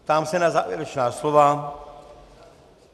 Ptám se na závěrečná slova.